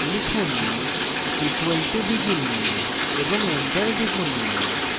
লিখুন = begin এবং enter টিপুন